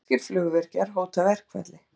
Finnskir flugvirkjar hóta verkfalli